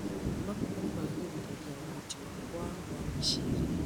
Mabuku magĩrithagia ũhoti wakwa wa gwĩciria.